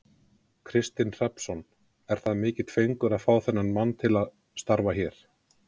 Kristinn Hrafnsson: Er það mikill fengur að fá þennan mann til starfa hér?